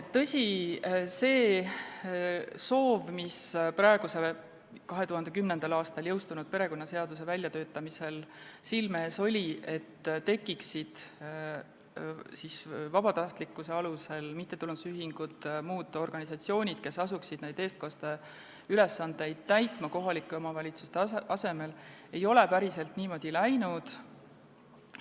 Tõsi, see soov, mis 2010. aastal jõustunud perekonnaseaduse väljatöötamisel silme ees oli, et vabatahtlikkuse alusel tekiksid mittetulundusühingud ja muud organisatsioonid, kes asuksid neid eestkosteülesandeid kohalike omavalitsuse asemel täitma, ei ole päriselt täide läinud.